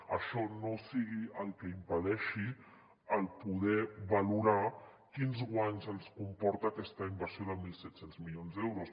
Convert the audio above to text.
que això no sigui el que im·pedeixi el poder valorar quins guanys ens comporta aquesta inversió de mil set cents mi·lions d’euros